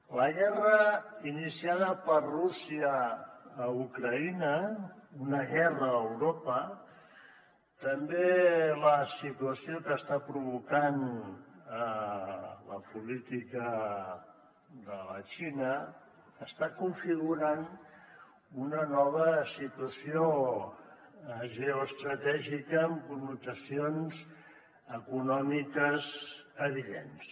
la guerra iniciada per rússia a ucraïna una guerra a europa també la situació que està provocant la política de la xina estan configurant una nova situació geoestratègica amb connotacions econòmiques evidents